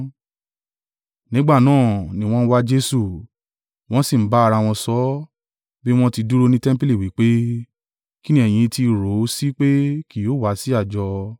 Nígbà náà ni wọ́n ń wá Jesu, wọ́n sì ń bá ara wọn sọ̀, bí wọ́n ti dúró ní tẹmpili, wí pé, “Kín ni ẹyin ti rò ó sí pé kì yóò wá sí àjọ?”